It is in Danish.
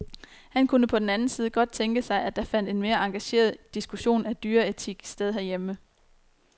Han kunne på den anden side godt tænke sig, at der fandt en mere engageret diskussion af dyreetik sted herhjemme.